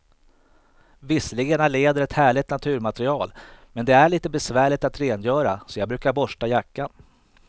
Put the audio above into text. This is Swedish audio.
Visserligen är läder ett härligt naturmaterial, men det är lite besvärligt att rengöra, så jag brukar borsta jackan.